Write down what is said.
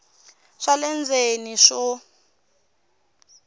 swa le ndzeni leswi swo